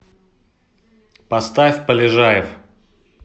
поставь полежаев